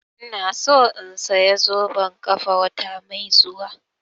Ina so in saya zoben ƙafa wata mai zuwa